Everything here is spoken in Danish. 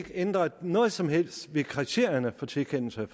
ændret noget som helst ved kriterierne for tilkendelse